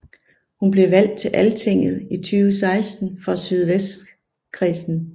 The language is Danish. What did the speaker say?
Hun blev valgt til Altinget i 2016 for Sydvestkredsen